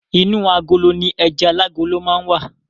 Inú agolo ni ẹja alágolo máa n wa.